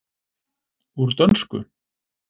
Úr dönsku?